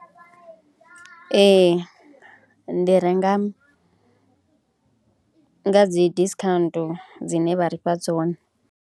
Ee ndi renga nga dzi discount dzine vha ri fha dzone.